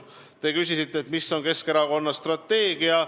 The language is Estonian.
Te küsisite, mis on Keskerakonna strateegia.